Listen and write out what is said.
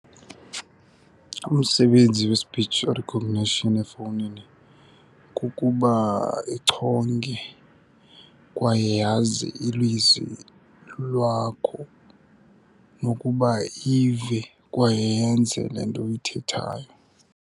Umsebenzi we-speech recognition efowunini kukuba ichonge kwaye yazi ilizwi lwakho, nokuba ive kwaye yenze le nto uyithethayo.